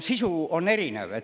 Sisu on erinev.